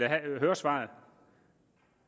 høre svaret